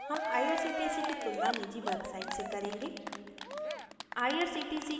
हम irctc की तुलना निजी website से करेंगे